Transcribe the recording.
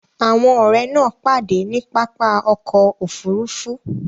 Àwọn ọ̀rẹ́ náà pàdé ní pápá ọkọ̀ Òfurufú